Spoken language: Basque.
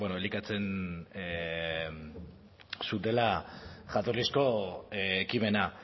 elikatzen zutela jatorrizko ekimena